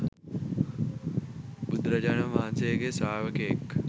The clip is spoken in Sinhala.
බුදුරජාණන් වහන්සේගේ ශ්‍රාවකයෙක්.